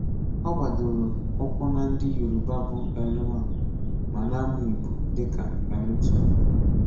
Ọ g̀bádòrò ụ́kwù na ndị Yorùbá bụ́ L1, ma na-amụ́ Ìgbò dị ka L2.